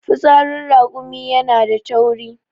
fitsarin rakumi yana da tauri